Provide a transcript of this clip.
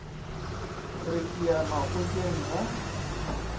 re ke ya makgotleng ga